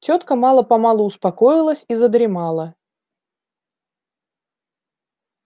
тётка мало-помалу успокоилась и задремала